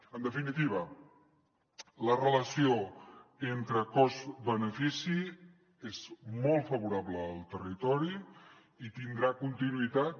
en definitiva la relació entre cost benefici és molt favorable al territori i tindrà continuïtat